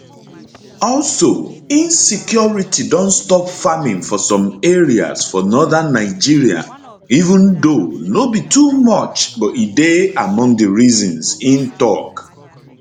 also insecurity don stop farming for some areas for northern nigeria even though no be too much but e dey among di reasons im tok